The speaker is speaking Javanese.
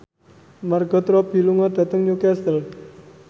Margot Robbie lunga dhateng Newcastle